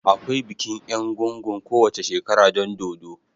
Akwai bikin egúngún kowace shekara don dodo.